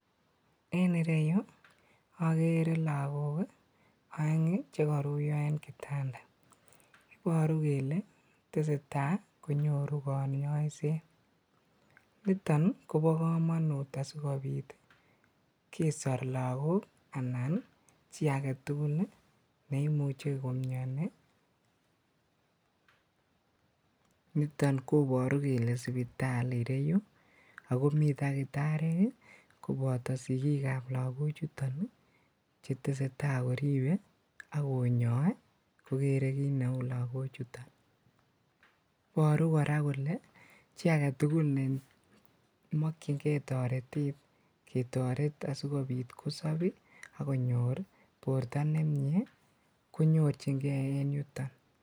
En ireyuu okere lokok oeng chekoruyo en kitanda, iboru kelee teseta konyoru konyoiset, niton kobokomonut asikobit kesor lokok anan chii aketukul neimuche komioni niton koboru kelee sipitali ireyuu ak komii takitariek koboto sikiikab lokochuton ak cheteseta koribe ak konyoe kokere kiit neuu lokochuton, iboru kora kolee chii aketukul nemokying'e toretet ketoret asikobit kosob akonyor borto nemie konyorching'e en yuton.